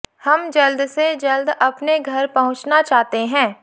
हम जल्द से जल्द अपने घर पहुंचना चाहते हैं